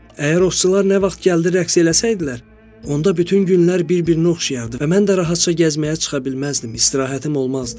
Əgər ovçular nə vaxt gəldi rəqs eləsəydilər, onda bütün günlər bir-birinə oxşayardı və mən də rahatca gəzməyə çıxa bilməzdim, istirahətim olmazdı.